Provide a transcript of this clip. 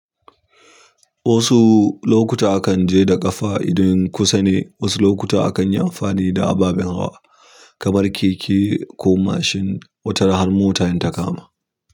Wasu lokuta akan je da ƙafa idan kusa ne, wasu lokuta akan yi amfani da ababen hawa kamar keke ko mashin wata ran har mota in ta kama.